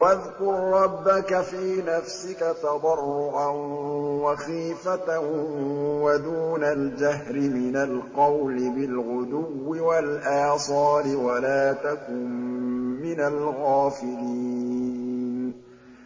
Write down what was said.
وَاذْكُر رَّبَّكَ فِي نَفْسِكَ تَضَرُّعًا وَخِيفَةً وَدُونَ الْجَهْرِ مِنَ الْقَوْلِ بِالْغُدُوِّ وَالْآصَالِ وَلَا تَكُن مِّنَ الْغَافِلِينَ